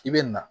I bɛ na